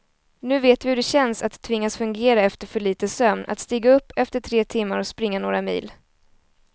Nu vet vi hur det känns att tvingas fungera efter för lite sömn, att stiga upp efter tre timmar och springa några mil.